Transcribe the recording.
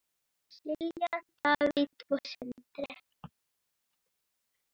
Silja, Davíð og Sindri.